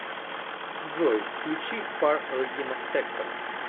джой включи фар регина спектор